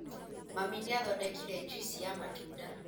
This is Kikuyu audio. Mami nĩathodekire juici ya matunda